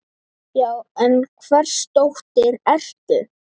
Já, en hvers dóttir ertu?